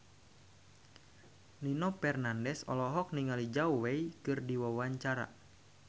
Nino Fernandez olohok ningali Zhao Wei keur diwawancara